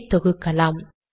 இதை தொகுக்கலாம்